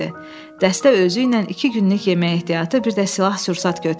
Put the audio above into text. Dəstə özüylə iki günlük yemək ehtiyatı, bir də silah sursat götürdü.